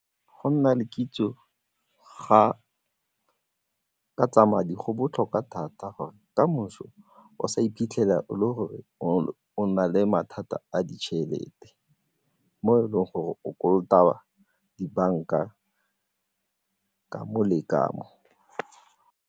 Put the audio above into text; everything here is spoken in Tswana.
Go nna le kitso ka tsa madi go botlhokwa thata gore kamoso o sa iphitlhela o le gore o na le mathata a ditšhelete mo e leng gore o kolota dibanka ka mo le ka mo.